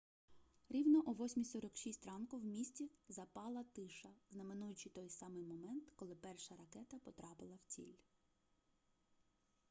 рівно о 8:46 ранку в місті запала тиша знаменуючи той самий момент коли перша ракета потрапила в ціль